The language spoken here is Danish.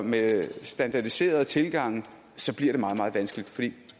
med standardiserede tilgange bliver det meget meget vanskeligt for det